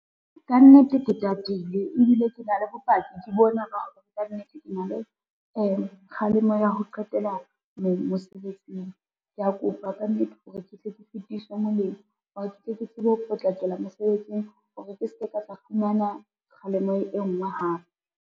Kannete ke tatile ebile ke na le bopaki ke bona hore kannete ke na le kgalemo ya ho qetela mosebetsing, kea kopa kannete hore ke tle ke fetiswe moleng hore ke tle ke tsebe ho potlakela mosebetsing hore ke se ke ka tla fumana kgalemo e ngwe hape.